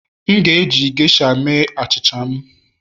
M ga-eji geisha mee achịcha m